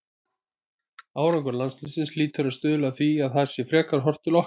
Árangur landsliðsins hlýtur að stuðla að því að það sé frekar horft til okkar.